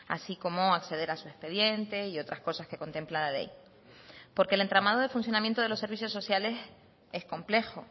así como acceder a su expediente y otras cosas que contempla la ley porque el entramado de funcionamiento de los servicios sociales es complejo